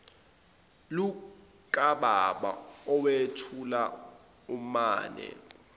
lukababa owethuka umame